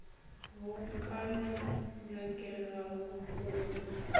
bo ka no nyakegago go